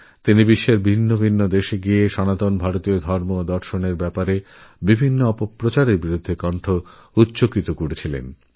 তিনি বিশ্বের বিভিন্ন দেশে ঘুরে ঘুরে সনাতন ধর্ম ও দর্শন বিষয়েঅপপ্রচারের বিরুদ্ধে সোচ্চার হন